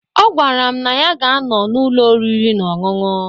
Ọ gwara m na ya ga anọ na ụlọ orịri na ọṅụṅụ.